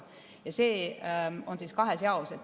Ja see on kahes jaos.